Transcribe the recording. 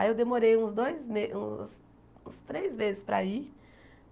Aí eu demorei uns dois me uns uns três vezes para ir.